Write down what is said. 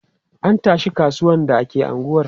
An tashi kasuwan da ke unguwar.